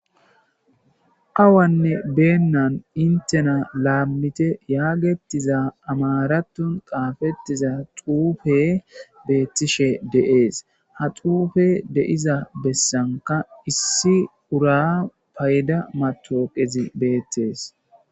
Awane beenan hiinttena lammitte yaggetiza amaraththon xafetida xuufey betishe de7es ha xuufey deiza bessanka issi ura payda matawaqazi bettes.